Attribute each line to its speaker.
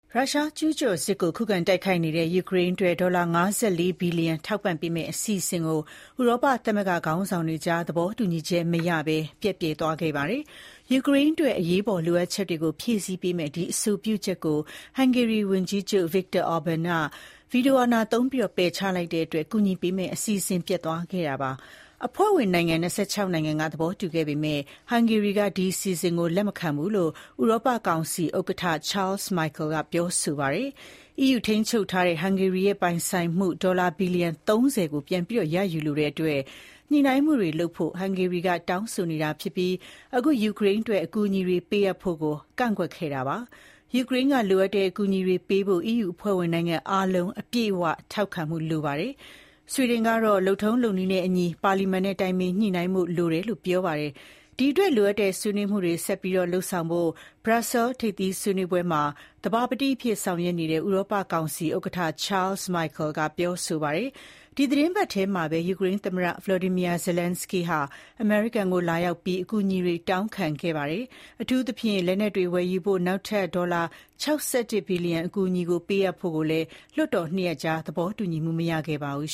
Speaker 1: ရုရှားရဲ့ ကျူးကျော်စစ်ကို ခုခံတိုက်ခိုက်နေတဲ့ ယူကရိန်းအတွက် ဒေါ်လာ ၅၄ ဘီလီယံ ထောက်ပံ့ပေးမယ့် အစီအစဉ်ကို ဥရောပသမဂ္ဂခေါင်းဆောင်တွေအကြား သဘောတူညီချက်မရဘဲ ပျက်ပြယ်သွားခဲ့ပါတယ်။ ယူကရိန်းအတွက် အရေးပေါ်လိုအပ်ချက်တွေကို ဖြည့်ဆည်းပေးမယ့် အဲဒီ အဆိုပြုချက်ကို ဟန်ဂေရီဝန်ကြီးချုပ် Viktor Orban က ဗီတိုအာဏာသုံးပယ်ချလိုက်တာကြောင့် ကူညီပေးမယ့် အစီအစဉ် ပျက်သွားခဲ့တာပါ။ အဖွဲ့ဝင်နိုင်ငံ၂၆ နိုင်ငံက သဘောတူခဲ့ပေမဲ့ ဟန်ဂေရီက ဒီအစီအစဉ်ကို လက်မခံဘူးလို့ ဥရောပကောင်စီဥက္ကဋ္ဌ Charles Michel ကပြောဆိုပါတယ်။ EU က ထိန်းချုပ်ထားတဲ့ ဟန်ဂေရီရဲ့ ပိုင်ဆိုင်မှု ဒေါ်လာ ဘီလီလျံ ၃၀ ကိုပြန်ရယူလိုတဲ့အတွက် ညှိနှိုင်းမှုတွေလုပ်ဖို့ ဟန်ဂေရီက တောင်းဆိုနေတာဖြစ်ပြီး အခု ယူကရိန်းအတွက် အကူအညီတွေကို ပေးအပ်ဖို့ကို ကန့်ကွက်ခဲ့တာပါ။ ယူကရိန်းက လိုအပ်နေတဲ့ အကူအညီတွေပေးဖို့ EU အဖွဲ့ဝင်နိုင်ငံအားလုံးက အပြည့်အဝထောက်ခံမှုကို လိုအပ်ပါတယ်။ ဆွီဒင်ကတော့ လုပ်ထုံးလုပ်နည်းနဲ့အညီ ပါလီမန်နဲ့ တိုင်ပင်ညှိနှိုင်းဖို့ လိုတယ်လို့ ပြောပါတယ်။ ဒီအတွက် လိုအပ်တဲ့ ဆွေးနွေးမှုတွေဆက်လုပ်ဖို့ Brussels ထိပ်သီးစည်းဝေးပွဲမှာ သဘာပတိအဖြစ် ဆောင်ရွက်နေတဲ့ ဥရောပကောင်စီဥက္ကဋ္ဌ Charles Michel ကပြောဆိုပါတယ်။ ဒီသီတင်းပတ်ထဲမှာပဲ ယူကရိန်းသမ္မတ Volodymyr Zelenskyy က အမေရိကန်ကို လာရောက်ပြီး အကူအညီတွေတောင်းခံခဲ့သေးတာပါ။ အထူးသဖြင့် အမေရိကန်ကနေ လက်နက်တွေဝယ်ယူဖို့ နောက်ထပ်ဒေါ်လာ ၆၁ ဘီလျံ အကူအညီတွေကို ပေးအပ်ဖို့ကိုလည်း လွှတ်တော် ၂ ရပ်ကြား သဘောတူညီမှုမရခဲ့ပါဘူး